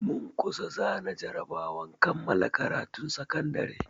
Mun kusa zana jarabawar kammala karatun sakandare.